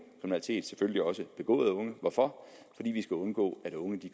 selvfølgelig også begået af unge hvorfor fordi vi skal undgå at unge